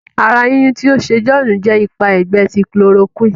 àrà yínyun tí o ṣe John jẹ ipa ẹgbẹ ti chloroquine.